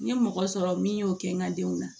N ye mɔgɔ sɔrɔ min y'o kɛ n ka denw na